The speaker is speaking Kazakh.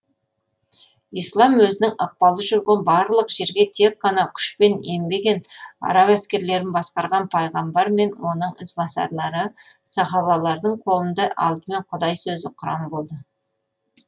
ислам өзінің ықпалы жүрген барлық жерге тек қана күшпен енбеген араб әскерлерін басқарған пайғамбар мен оның ізбасарлары сахабалардың қолында алдымен құдай сөзі құран болды